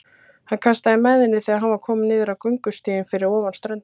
Hann kastaði mæðinni þegar hann var kominn niður á göngustíginn fyrir ofan ströndina.